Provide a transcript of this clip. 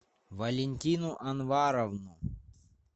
валентину анваровну